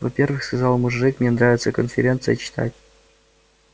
во-первых сказал мужик мне нравится конференции читать